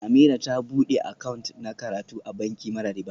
Ameerah ta bude account na karatu a banki mara riba